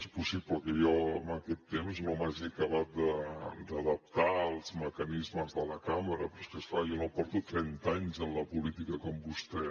és possible que jo en aquest temps no m’hagi acabat d’adaptar als mecanismes de la cambra però és clar jo no porto trenta anys en la política com vostè